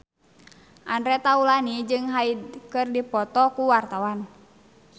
Andre Taulany jeung Hyde keur dipoto ku wartawan